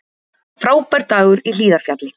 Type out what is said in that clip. Frábær dagur í Hlíðarfjalli